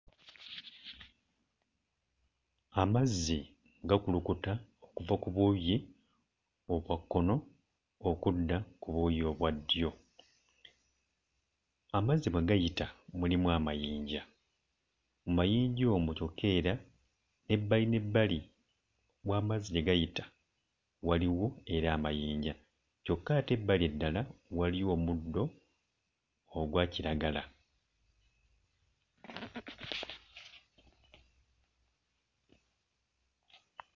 Amazzi gakulukuta okuva ku buuyi obwa kkono okudda ku buuyi obwa ddyo. Amazzi mwe gayita mulimu amayinja, mu mayinja omwo kyokka era ebbali n'ebbali w'amazzi gye gayita waliwo era amayinja kyokka ate ebbali eddala waliwo omuddo ogwa kiragala.